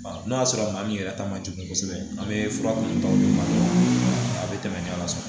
N'o y'a sɔrɔ maa min yɛrɛ ta man jugu kosɛbɛ an bɛ fura minnu ta o de ma a bɛ tɛmɛ ala fɛ